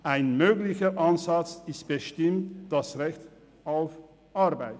Ein möglicher Ansatz ist bestimmt das Recht auf Arbeit.